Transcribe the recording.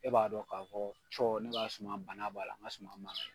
E b'a dɔn k'a fɔ cɔ, ne ka suman bana b'a la, n ka suman ma